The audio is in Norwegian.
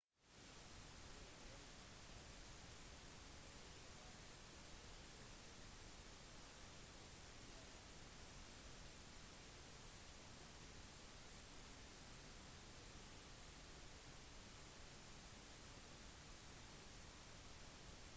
cook-øyene er et øyrike lokalisert i polynesia midt i det sørlige stillehavet som har fri tilknytning til new zealand